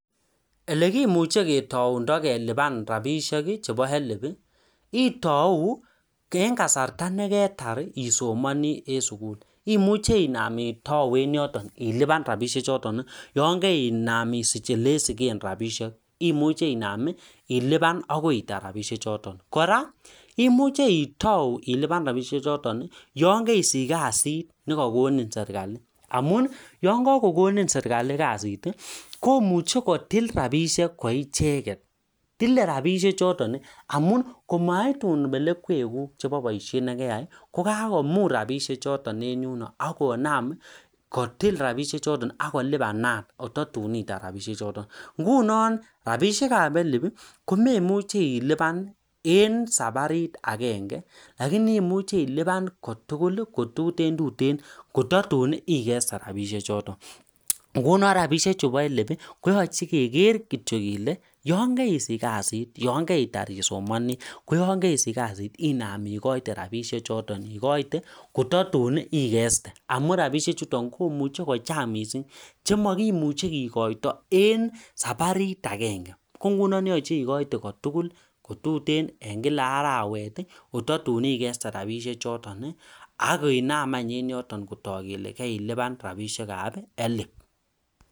Olekimuchee ilipan itauu oketar eng sukul akisich kasit nekakonin serkalit amuu tilee rabishek chotok akoi itar tugul